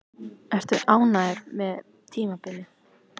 Ertu ánægður með tímabilið?